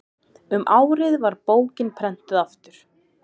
um árið var bókin prenntuð aftur